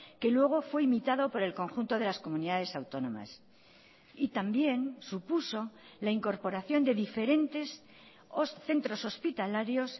que luego fue imitado por el conjunto de las comunidades autónomas y también supuso la incorporación de diferentes centros hospitalarios